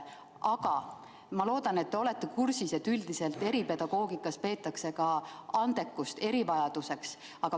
Aga ma loodan, et te olete kursis, et üldiselt eripedagoogikas peetakse ka andekust erivajaduseks.